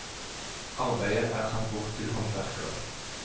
Arbeidet er satt bort til håndverkere.